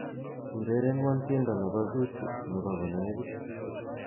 urerenwon tiendo nebo zuchu nebo konegit